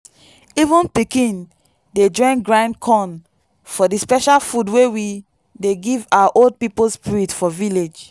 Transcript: even pikin dey join grind corn for the special food wey we dey give our old people spirit for village.